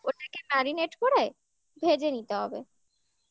ওটা কি marinate করে ভেজে নিতে হবে